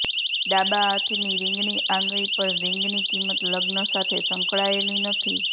ડાબા હાથની રિંગની આંગળી પર રિંગની કિંમત લગ્ન સાથે સંકળાયેલી નથી